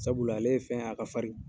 Sabula ale ye fɛn ye a ka farin.